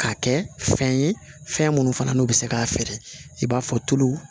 K'a kɛ fɛn ye fɛn minnu fana n'u bɛ se k'a feere i b'a fɔ tulu